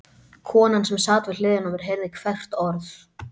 Konan sem sat við hliðina á mér heyrði hvert orð.